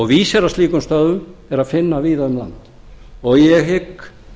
vísi að slíkum stöðvum er að finna víða um land og ég hygg